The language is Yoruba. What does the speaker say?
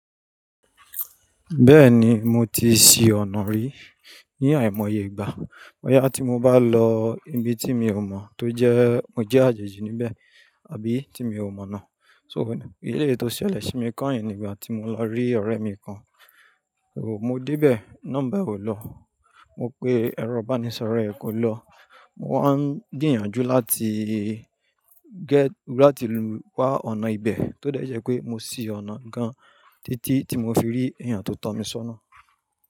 Bẹ́ẹ̀ni mo ti ṣí ọ̀nà rí ní àìmọye ìgbà. Bọ́ yá tí mo bá lọ ibi tí mi ò mọ̀ tó jẹ́ mo jẹ́ àjèjì níbẹ̀ àbí tí mi ò mọ̀ náà. So, eléyìí tó ṣẹlẹ̀ sí mi kányìn nígbà tí mo lọ rí ọ̀rẹ́ mi kan. Mo dé bẹ̀, nọ́mbà e ò lọ, mo pe ẹ̀rọ ìbánisọ̀rọ̀ ẹ̀ kò lọ. Mo wá ń gbiyànjú láti get láti wá ọ̀nà ibẹ̀ tó dẹ̀ jé pé mo ṣí ọ̀nà gan-an títí tí mo fi rí èèyàn tó tan mi sọ́nà.